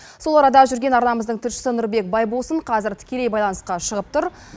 сол арада жүрген арнамыздың тілшісі нұрбек байбосын қазір тікелей байланысқа шығып тұр